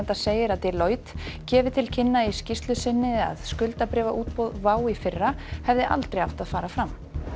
segir að Deloitte gefi til kynna í skýrslu sinni að skuldabréfaútboð WOW í fyrra hefði aldrei átt að fara fram